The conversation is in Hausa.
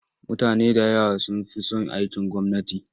Mutane da yawa sun fi son aikin gwamnati.